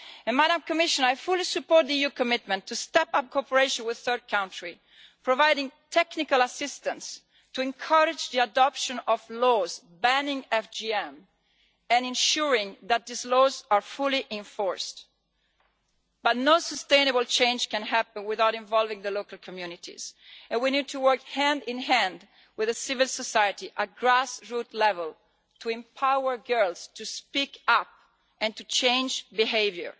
Madam Commissioner, I fully support the EU commitment to step up cooperation with third countries, providing technical assistance to encourage the adoption of laws banning FGM, and ensuring that these laws are fully enforced. But no sustainable change can happen without involving the local communities, and we need to work hand in hand with civil society at grass root level to empower girls to speak up and to change behaviour,